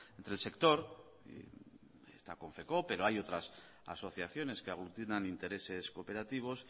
entre el sector y esta confecoop pero hay otras asociaciones que aglutinan intereses cooperativos